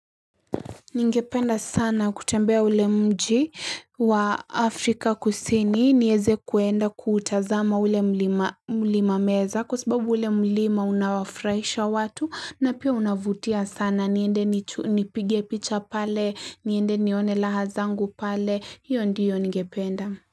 Ningependa sana kutembea ule mji wa Afrika Kusini niweze kuenda kuutazama ule mlima meza Kwa sababu ule mlima unawafurahisha watu na pia unavutia sana niende nipige picha pale, niende nione raha zangu pale, io ndiyo ningependa.